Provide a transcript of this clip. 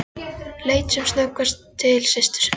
Leit sem snöggvast til systur sinnar.